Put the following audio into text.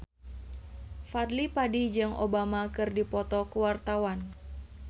Fadly Padi jeung Obama keur dipoto ku wartawan